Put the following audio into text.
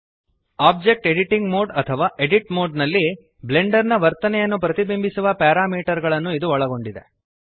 object editing mode ಅಥವಾ edit mode ನಲ್ಲಿ Blender ನ ವರ್ತನೆಯನ್ನು ಪ್ರತಿಬಿಂಬಿಸುವ ಪ್ಯಾರಾಮೀಟರ್ ಗಳನ್ನು ಇದು ಒಳಗೊಂಡಿದೆ